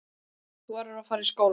Þú verður að fara í skólann.